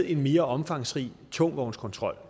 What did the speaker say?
en mere omfangsrig tungtvognskontrol